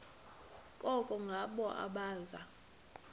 koko ngabo abaza